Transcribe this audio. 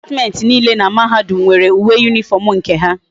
Department niile na mahadum nwere uwe uniform nke ha